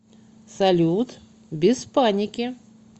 салют без паники